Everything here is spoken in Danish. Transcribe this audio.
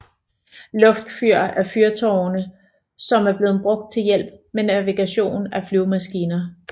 Luftfyr er fyrtårne som er blevet brugt til hjælp med navigation af flyvemaskiner